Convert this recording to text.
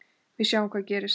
Við sjáum hvað gerist.